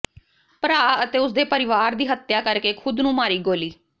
ਭਰਾ ਅਤੇ ਉਸਦੇ ਪਰਿਵਾਰ ਦੀ ਹੱਤਿਆ ਕਰ ਕੇ ਖੁਦ ਨੂੰ ਮਾਰੀ ਗੋਲੀ